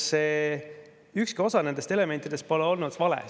Ükski nendest elementidest pole olnud vale.